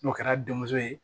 N'o kɛra denmuso ye